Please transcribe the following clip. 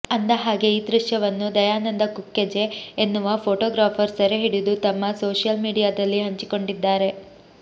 ಅಂದಹಾಗೆ ಈ ದೃಶ್ಯವನ್ನು ದಯಾನಂದ ಕುಕ್ಕಜೆ ಎನ್ನುವ ಫೋಟೋಗ್ರಾಫರ್ ಸೆರೆ ಹಿಡಿದು ತಮ್ಮ ಸೋಷಿಯಲ್ ಮೀಡಿಯಾದಲ್ಲಿ ಹಂಚಿಕೊಂಡಿದ್ದಾರೆ